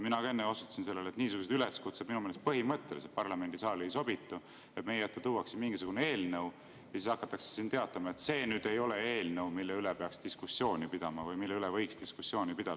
Mina ka enne osutasin sellele, et minu meelest põhimõtteliselt ei sobitu parlamendisaali niisugused üleskutsed, et meie ette tuuakse mingisugune eelnõu ja siis hakatakse teatama, et see nüüd ei ole eelnõu, mille üle peaks diskussiooni pidama või mille üle võiks diskussiooni pidada.